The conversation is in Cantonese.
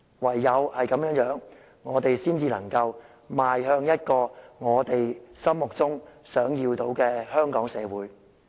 唯有這樣做，我們才能邁向心中想要的香港社會。